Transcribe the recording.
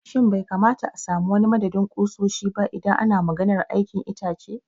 Shin bai kamata a sami wani madadin ƙusoshi ba idan ana maganar aikin itace?